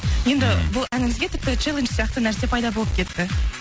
енді бұл әніңізге тіпті челедж сияқты нәрсе пайда болып кетті